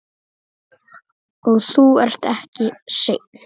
Og þú ert ekki einn.